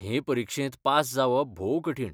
हे परिक्षेंत पास जावप भोव कठीण